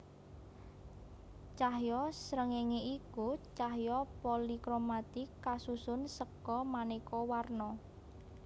Cahya srengéngé iku cahya polikromatik kasusun seka manéka warna